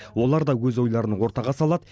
олар да өз ойларын ортаға салады